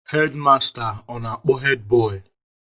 Hedmasta ọ na-akpọ hedbọị?